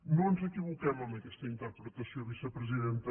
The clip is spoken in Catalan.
no ens equivoquem amb aquesta interpretació vicepresidenta